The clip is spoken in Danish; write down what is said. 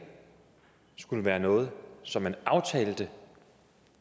skulle være noget som man aftalte